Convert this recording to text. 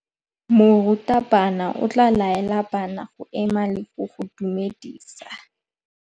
Morutabana o tla laela bana go ema le go go dumedisa.